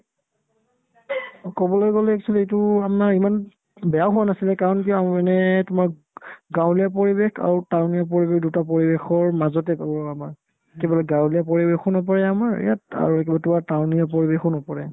অ, ক'বলৈ গ'লে actually এইটো আমাৰ ইমান বেয়া হোৱা নাছিলে কাৰণ কিয় এনে তোমাৰ গাঁৱলীয়া পৰিৱেশ আৰু town ইয়া পৰিৱেশ দুটা পৰিৱেশৰ মাজতে গাওঁ আমাৰ সিফালে গাঁৱলীয়া পৰিৱেশো নপৰে আমাৰ ইয়াত আৰু কিবা তোমাৰ town ইয়া পৰিৱেশো নপৰে